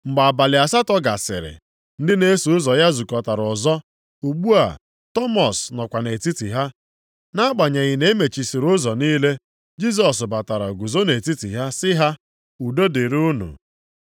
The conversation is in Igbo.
Mgbe abalị asatọ gasịrị, ndị na-eso ụzọ ya zukọtara ọzọ. Ugbu a Tọmọs nọkwa nʼetiti ha. Nʼagbanyeghị na e mechisịrị ụzọ niile, Jisọs batara guzo nʼetiti ha sị ha, “Udo dịrị unu.”